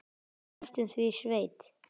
Næstum því sveit.